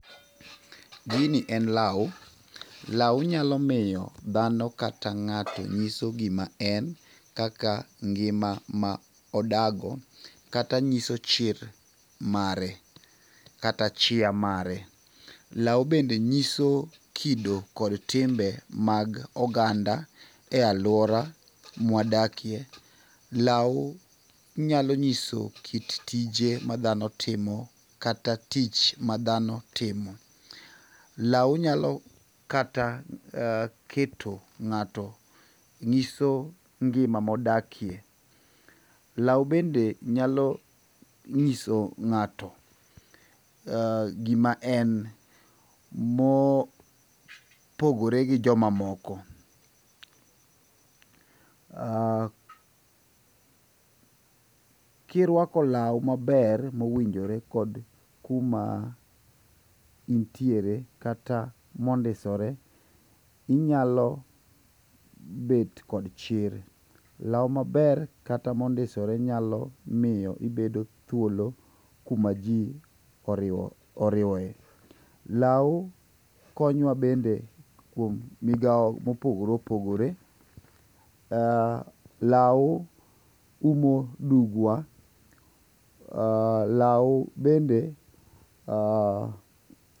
gini en law, law nyalo miyo dhano kata ngato nyiso gima en kaka ngima ma odago kata nyiso chir mare kata chia mare ,law bende nyiso kido kata chia mar oganda e aluora mawa dakie ,law nyalo nyiso kit tije madhano timo kata tich madhano timo, law nyalo keto ng'ato nyiso ngima modakie, law bende nyalo nyiso ngato gima en mopogore gi joma moko, kiruako law maber mowinjore kod kuma intiere kata mondisore inyalo bet kod chir ,law maber kata mondisore nyalo miyo ibedo thuolo kuma ji oriwoe ,law konyo wa bende kuom migao mopogore opogore, law umo dugwa ,law bende..